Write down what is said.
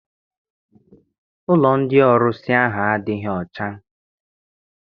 Ụlọ ndị ọrusi ahụ adịghị ọcha.